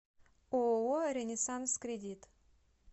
ооо ренессанс кредит